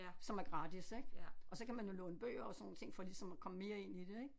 Som er gratis ik og så kan man jo låne bøger og sådan nogle ting for ligesom at komme mere ind i det ik